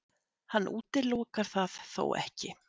Hann útilokar það þó ekki